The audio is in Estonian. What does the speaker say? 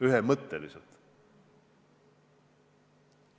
Ühemõtteliselt!